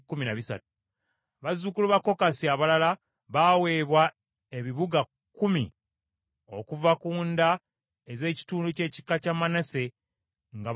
Bazzukulu ba Kokasi abalala baweebwa ebibuga kkumi okuva ku nda ez’ekitundu ky’ekika kya Manase nga bakuba akalulu.